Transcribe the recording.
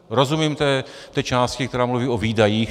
Rozumím té části, která mluví o výdajích.